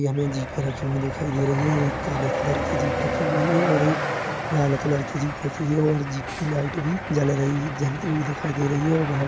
यहाँ पे जीपे रखे हुए दिखाई दे रही हैं ये एक काले कलर की जीप रखी हुई है और एक लाल कलर की जीप रखी हुई है और जीप की लाइट भी जल रही जलती हुई दिखाई दे रही हैं और वहाँ --